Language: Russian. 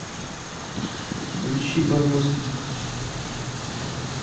включи барбоскиных